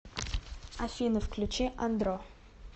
афина включи андро